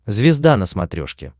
звезда на смотрешке